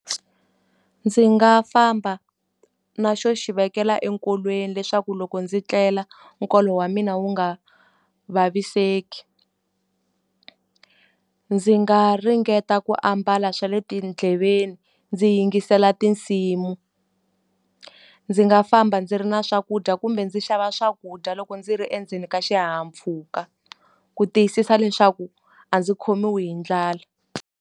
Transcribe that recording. Ndzi nga famba na xo xi vekela enkolweni leswaku loko ndzi tlela nkolo wa mina wu nga vaviseki. Ndzi nga ringeta ku ambala swa le tindleveni ndzi yingisela tinsimu, ndzi nga famba ndzi ri na swakudya kumbe ndzi xava swakudya loko ndzi ri endzeni ka xihahampfhuka, ku tiyisisa leswaku a ndzi khomiwi hi ndlala.